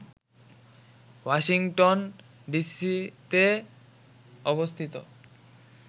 Washington ডিসিতে অবস্থিত